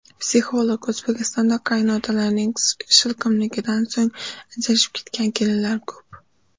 Psixolog: O‘zbekistonda qaynotalarning shilqimligidan so‘ng ajrashib ketgan kelinlar ko‘p .